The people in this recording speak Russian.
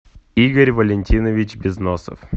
игорь валентинович безносов